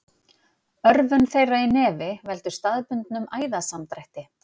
Örvun þeirra í nefi veldur staðbundnum æðasamdrætti.